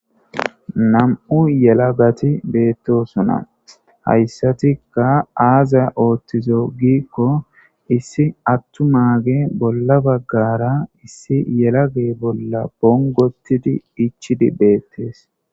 nam7u yelagati beettosona hayssatikka aazaya ooththizo giikko issi attum a bolla baggara issi yelage bolla bongotidi ichidi beettes